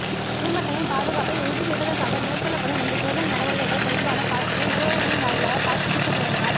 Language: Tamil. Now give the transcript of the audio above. பொதுமக்களின் பாதுகாப்பை உறுதிசெய்வதற்காக மேற்கொள்ளப்படும் இந்த சோதனை நடவடிக்கைகள் தொடர்பான காட்சிகள் ஊடகங்களின் வாயிலாக காட்சிப்படுத்தப்படுவதனால்